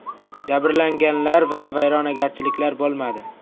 Jabrlanganlar va vayronagarchiliklar bo‘lmadi.